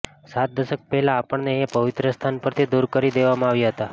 સાત દશક પહેલા આપણને એ પવિત્ર સ્થાન પરથી દૂર કરી દેવામાં આવ્યા હતા